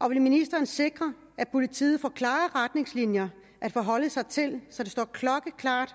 og vil ministeren sikre at politiet får klare retningslinjer at forholde sig til så det står klokkeklart